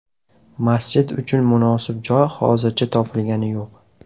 Masjid uchun munosib joy hozircha topilgani yo‘q.